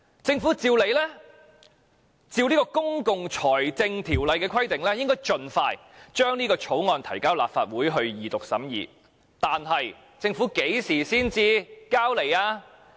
政府理應按照《公共財政條例》的規定，盡快將這項條例草案提交立法會二讀，但政府何時才提交上來？